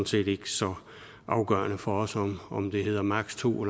set ikke så afgørende for os om det hedder maksimum